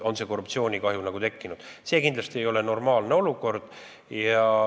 See ei ole kindlasti normaalne olukord.